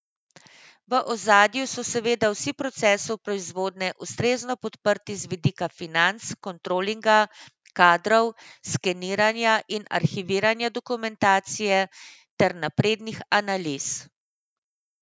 V ozadju so seveda vsi procesi proizvodnje ustrezno podprti z vidika financ, kontrolinga, kadrov, skeniranja in arhiviranja dokumentacije ter naprednih analiz.